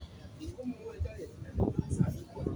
CNN wacho ni jatend garino nowacho ni en gi bom.